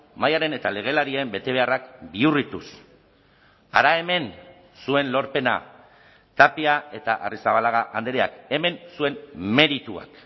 mahaiaren eta legelarien betebeharrak bihurrituz hara hemen zuen lorpena tapia eta arrizabalaga andreak hemen zuen merituak